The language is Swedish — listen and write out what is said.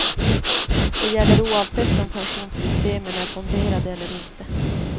Det gäller oavsett om pensionssystemen är fonderade eller inte.